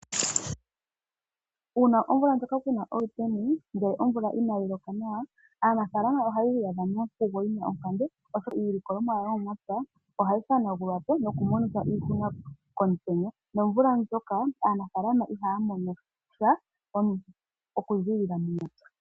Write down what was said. Uuna omvula ndjoka kuna oluteni, ngele omvula inayi loka nawa, aanafalama ohaya iyadha monkugo yina onkambe oshoka iilikolomwa yawo yo momapya, ohayi hanagulwapo nokumona iihuna komutenya. Nomvula ndjoka aanafalama ihaya mono sha okuzilila momapya.